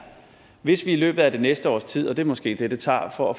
hvis det i løbet af det næste års tid og det er måske det det tager for at